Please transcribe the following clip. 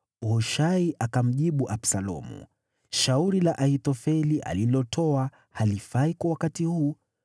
Hushai akamjibu Absalomu, “Shauri la Ahithofeli alilotoa halifai kwa wakati huu.